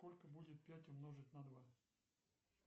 сколько будет пять умножить на два